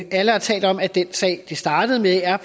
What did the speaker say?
alle har talt om at den sag det startede med er